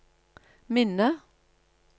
minne